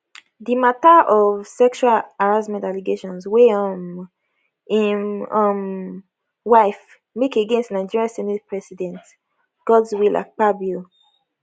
di mata of sexual harassment allegations wey um im um wife make against nigeria senate president godswill akpabio